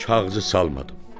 Kağızı salmadım.